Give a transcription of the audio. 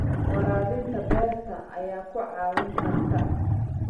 Waraabinta beerta ayaa ku caawin karta.